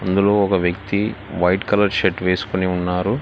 ఒక వ్యక్తి white colour shirt వేసుకుని ఉన్నారు.